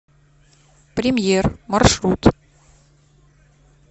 премьер маршрут